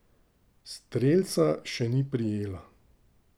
Strelca še ni prijela.